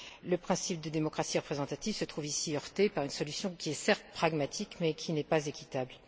Le principe de démocratie représentative se trouve ici heurté par une solution qui est, certes, pragmatique mais qui n'est pas équitable.